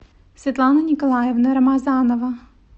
светлана николаевна рамазанова